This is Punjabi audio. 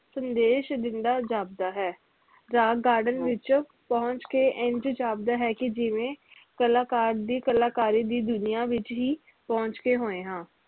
ਸੰਦੇਸ਼ ਦਿੰਦਾ ਜਾਪਦਾ ਹੈ rock garden ਵਿਚ ਪੁਹੰਚ ਕੇ ਇੰਜ ਜਾਪਦਾ ਹੈ ਕਿ ਜਿਵੇ ਕਲਾਕਾਰ ਦੀ ਕਲਾਕਾਰੀ ਦੀ ਦੁਨੀਆਂ ਵਿਚ ਹੀ ਪੁਹੰਚੇ ਹੋਏ ਹਾਂ